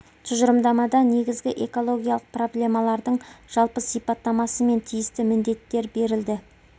тұжырымдамада негізгі экологиялық проблемалардың жалпы сипаттамасы мен тиісті міндеттер берілді